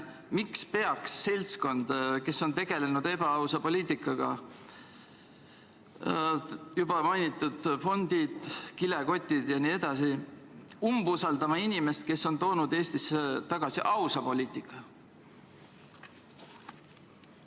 Miks peaks seltskond, kes on tegelenud ebaausa poliitikaga – juba mainitud fondid, kilekotid jne – umbusaldama inimest, kes on toonud Eestisse tagasi ausa poliitika?